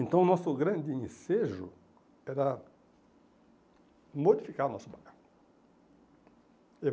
Então o nosso grande ensejo era modificar o nosso bairro.